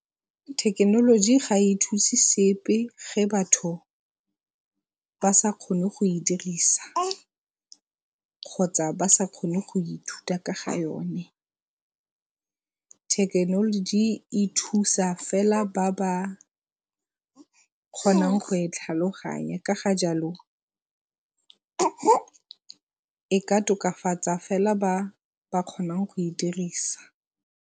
Thekenoloji ga e thuse sepe ge batho ba sa kgone go e dirisa kgotsa ba sa kgone go ithuta ka ga yone. Thekenoloji e thusa fela ba ba kgonang go e tlhaloganya ka ga jalo e ka tokafatsa fela ba ba kgonang go e dirisa.